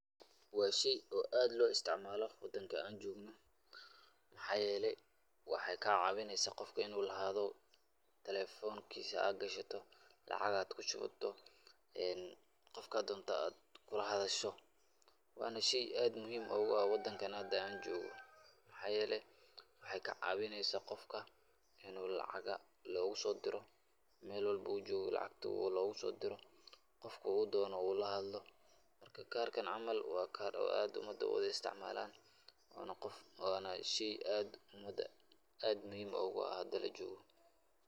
Waa shey oo aad loo isticmaalo wadanka aan joogno. Maxaa yeelay waxaay ka caawineysaa qofka inuu lahaado telefonkiisa, aad gashato lacag aad ku shubato, qofka doonto aad kula hadasho. Waana shey aad muhiim ugu ah wadankan hadda aan joogo, maxaa yeelay waxaay ka caawineysaa qofka inuu lacaga loogu soo diro meel walbo uu joogo, lacagtaa loogu soo diro qofka uu doono uu la hadlo. Marka kaarkan camal waa kaar oo aad umada u wada isticmaalaan, waana qof, waana shey aad umada aad muhiim ugu ah hadda la joogo.